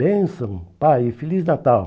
Benção, Pai, e Feliz Natal.